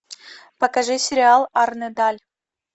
покажи сериал арне даль